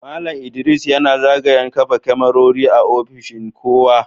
Mallam ldris yana zagayan kafa kamarori a ofishin kowa.